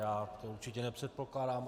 Já to určitě nepředpokládám.